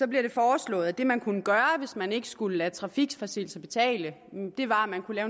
bliver det foreslået at det man kunne gøre hvis man ikke skulle lade trafikforseelser betale var at man kunne